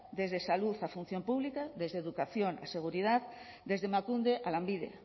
desde salud a función pública desde educación a seguridad desde emakunde a lanbide